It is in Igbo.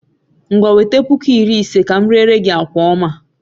Ngwa wete puku iri ise ka m rere gi akwa oma a